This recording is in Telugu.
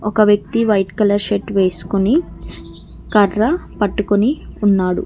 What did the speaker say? ఒక వ్యక్తి వైట్ కలర్ షర్ట్ వేసుకుని కర్ర పట్టుకుని ఉన్నాడు.